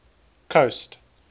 coast